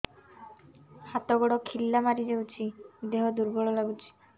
ହାତ ଗୋଡ ଖିଲା ମାରିଯାଉଛି ଦେହ ଦୁର୍ବଳ ଲାଗୁଚି